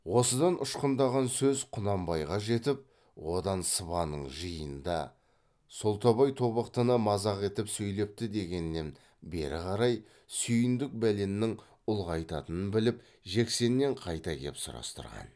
осыдан ұшқындаған сөз құнанбайға жетіп одан сыбанның жиынында солтабай тобықтыны мазақ етіп сөйлепті дегеннен бері қарай сүйіндік бәленнің ұлғаятынын біліп жексеннен қайта кеп сұрастырған